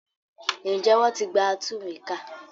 Ǹjẹ́ wọn ti gba atúnwèékà?